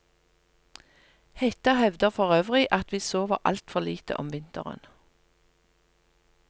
Hetta hevder forøvrig at vi sover altfor lite om vinteren.